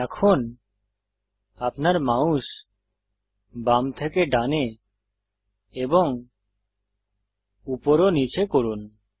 এখন আপনার মাউস বাম থেকে ডানে এবং উপর ও নীচে করুন